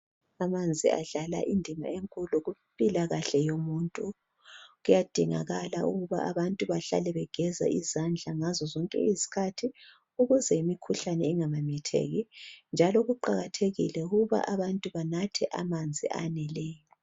Amanzi adlala indima enkulu kumpilakahle yomuntu kuyadingakala ukuba abantu bahlale begeza izandla ngazo zonke izikhathi ukuze imikhuhlane eminengi ingamemetheki njalo kuqakathekile ukuba abantu banathe amanzi aneleyo.